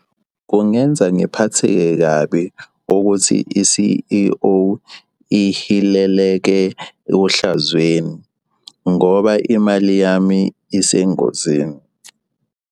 Kungenza ngiphatheke kabi ukuthi i-C_E_O ihileleke ohlazweni ngoba imali yami isengozini.